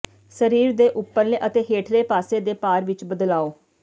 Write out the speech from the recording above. ਸਰੀਰ ਦੇ ਉੱਪਰਲੇ ਅਤੇ ਹੇਠਲੇ ਪਾਸੇ ਦੇ ਭਾਰ ਵਿਚ ਬਦਲਾਓ